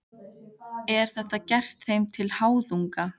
Er þetta gert þeim til háðungar?